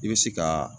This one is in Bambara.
I bɛ se ka